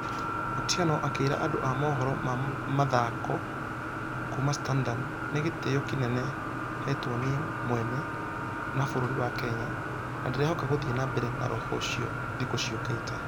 Otieno akĩrq andũ a mohoro ma mĩthako kuuma standard , nĩgeteyo kĩnene hetwo nie mwene na bũrũri wa kenya na ndĩrehoka gũthie na mbere na roho ũcio .....thikũ ciokĩte.